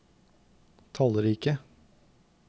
tallrike